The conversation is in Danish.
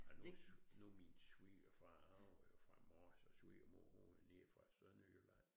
Ej nu nu min svigerfar han var jo fra Mors og svigermor hun var nede fra Sønderjylland